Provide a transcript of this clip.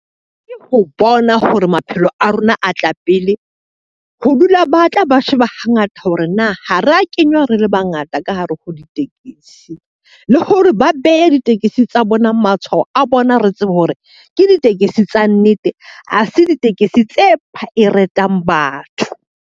Ke ho bona hore maphelo a rona a tla pele, ho dula ba tla ba sheba hangata hore na ho re a kenywa re le bangata ka hare ho ditekesi. Le hore ba behe ditekesi tsa bona matshwao a bona re tsebe hore, ke ditekesi tsa nnete ha se ditekesi tse batho.